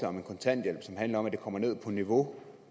om kontanthjælp som handler om at den kommer ned på niveau